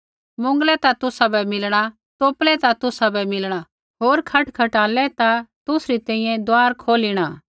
मुँगलै ता तुसाबै देणा तोपलै ता तुसाबै मिलणा होर खटखटालै ता तुसरी तैंईंयैं दुआर खोलिणा